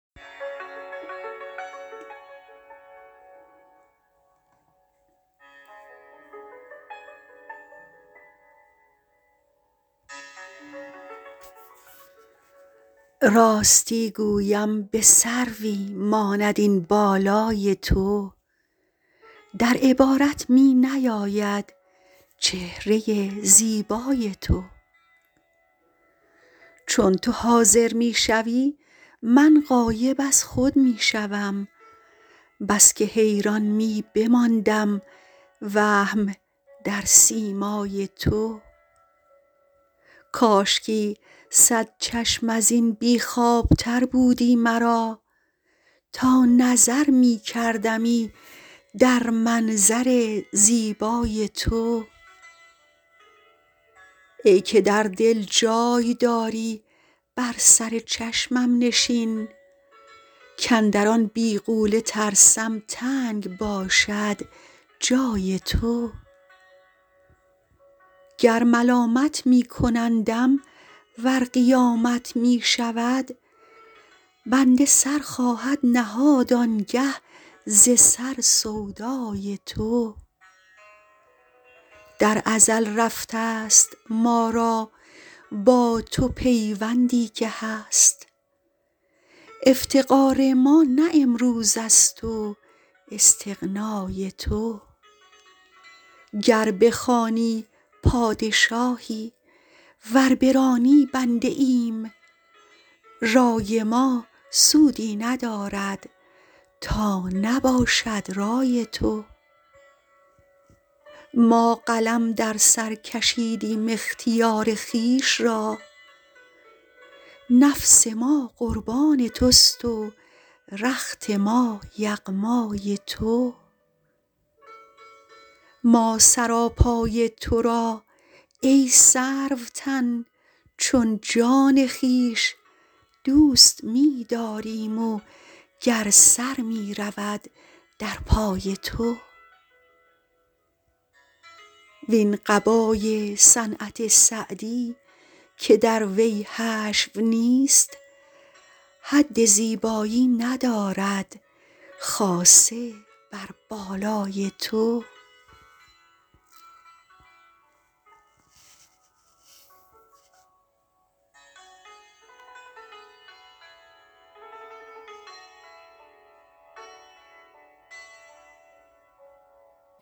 راستی گویم به سروی ماند این بالای تو در عبارت می نیاید چهره زیبای تو چون تو حاضر می شوی من غایب از خود می شوم بس که حیران می بماندم وهم در سیمای تو کاشکی صد چشم از این بی خوابتر بودی مرا تا نظر می کردمی در منظر زیبای تو ای که در دل جای داری بر سر چشمم نشین کاندر آن بیغوله ترسم تنگ باشد جای تو گر ملامت می کنندم ور قیامت می شود بنده سر خواهد نهاد آن گه ز سر سودای تو در ازل رفته ست ما را با تو پیوندی که هست افتقار ما نه امروز است و استغنای تو گر بخوانی پادشاهی ور برانی بنده ایم رای ما سودی ندارد تا نباشد رای تو ما قلم در سر کشیدیم اختیار خویش را نفس ما قربان توست و رخت ما یغمای تو ما سراپای تو را ای سروتن چون جان خویش دوست می داریم و گر سر می رود در پای تو وین قبای صنعت سعدی که در وی حشو نیست حد زیبایی ندارد خاصه بر بالای تو